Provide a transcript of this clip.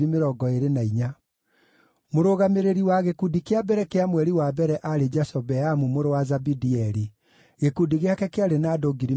Mũrũgamĩrĩri wa gĩkundi kĩa mbere kĩa mweri wa mbere aarĩ Jashobeamu mũrũ wa Zabidieli. Gĩkundi gĩake kĩarĩ na andũ 24,000.